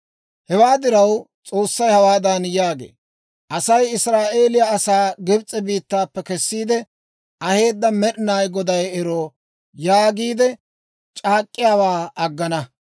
Hewaa diraw, S'oossay hawaadan yaagee; «Asay, ‹Israa'eeliyaa asaa Gibs'e biittaappe kessiide aheedda Med'inaa Goday ero› yaagiide c'aak'k'iyaawaa aggana.